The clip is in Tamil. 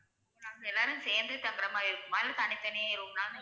Ma'am எல்லாரும் சேர்ந்தே தங்குற மாதிரி இருக்குமா இல்ல தனி தனி room லா